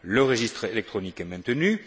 pas. Le registre électronique est maintenu.